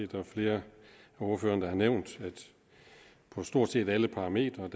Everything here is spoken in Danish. der flere af ordførerne der har nævnt på stort set alle parametre